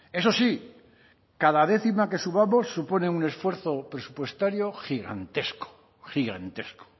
eso sí cada décima que subamos supone un esfuerzo presupuestario gigantesco gigantesco